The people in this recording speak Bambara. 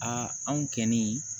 A anw kɔni